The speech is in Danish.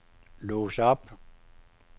lås op